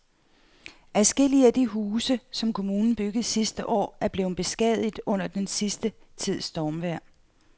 Adskillige af de huse, som kommunen byggede sidste år, er blevet beskadiget under den sidste tids stormvejr.